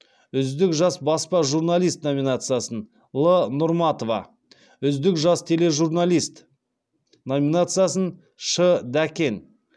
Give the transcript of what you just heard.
үздік жас баспа журналист номинациясын л нұрматова үздік жас тележурналист номинациясын ш дәкен